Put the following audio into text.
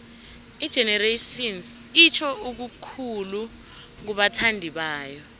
igenerations itjho okukhulu kubathandibayo